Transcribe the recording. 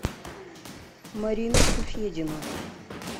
мариночку федину